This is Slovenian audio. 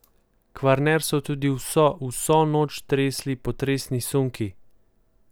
Kvarner so tudi vso vso noč tresli potresni sunki.